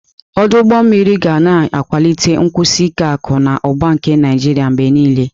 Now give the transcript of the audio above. Ọdụ ụgbọ mmiri ga na-akwalite nkwụsi ike akụ na ụba nke Naịjiria mgbe niile.